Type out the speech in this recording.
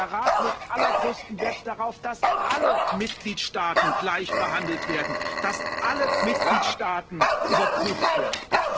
Der Rat legt allergrößten Wert darauf, dass alle Mitgliedstaaten gleichbehandelt werden, dass alle Mitgliedstaaten überprüft werden.